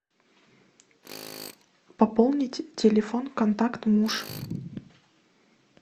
пополнить телефон контакт муж